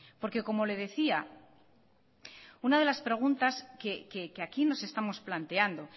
porque como le decía una de las preguntas que aquí nos estamos planteando